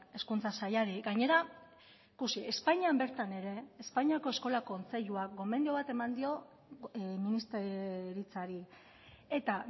hezkuntza sailari gainera ikusi espainian bertan ere espainiako eskola kontseiluak gomendio bat eman dio ministeritzari eta